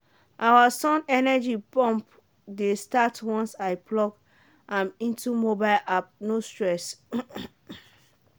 our sun energy pump dey start once i plug am into mobile ap no stress.